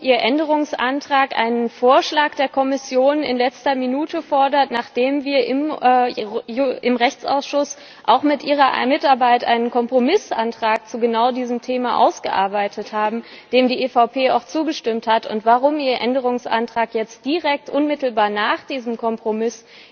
Frau Niebler, können Sie erklären, warum Ihr Änderungsantrag einen Vorschlag der Kommission in letzter Minute fordert, nachdem wir im Rechtsausschuss auch mit Ihrer Mitarbeit einen Kompromissantrag zu genau diesem Thema ausgearbeitet haben, dem die EVP auch zugestimmt hat, und warum Ihr Änderungsantrag jetzt direkt unmittelbar nach diesem Kompromiss